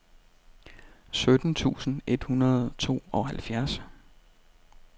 sytten tusind et hundrede og tooghalvfjerds